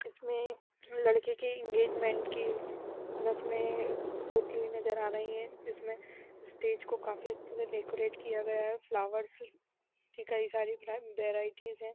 इसमें लड़के की इंगेजमेंट की रस्में होती हुई नजर आ रही है जिसमे स्टेज को काफी अच्छे से डेकरैट किया गया है फ्लावर से कई सारे वैराइटीज हैं।